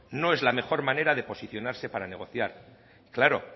no es la mejor manera de posicionarse para negociar y claro